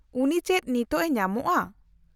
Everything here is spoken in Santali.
-ᱩᱱᱤ ᱪᱮᱫ ᱱᱤᱛ ᱮ ᱧᱟᱢᱚᱜᱼᱟ ?